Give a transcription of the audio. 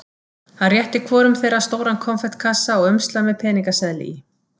Hann rétti hvorum þeirra stóran konfektkassa og umslag með peningaseðli í.